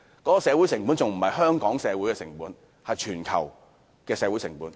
我說的不單是香港的社會成本，而是全球的社會成本。